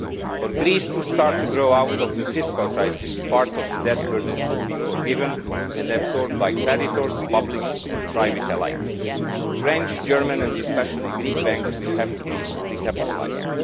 For Greece to start to grow out of the fiscal crisis, part of the debt burden should be forgiven and absorbed by creditors, public and private alike. French, German and especially Greek banks will have to be recapitalised.